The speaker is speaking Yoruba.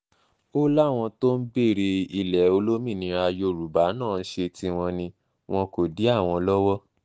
ó láwọn tó ń béèrè ilẹ̀ olómìnira yorùbá náà ń ṣe tiwọn ni wọn kò dí àwọn lọ́wọ́